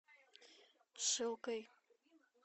шилкой